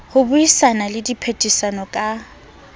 ho buisana le diphehisano ka